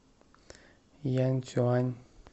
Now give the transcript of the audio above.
янцюань